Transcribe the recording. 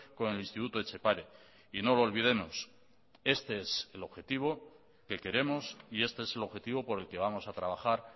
con el instituto etxepare y no lo olvidemos este es el objetivo que queremos y este es el objetivo por el que vamos a trabajar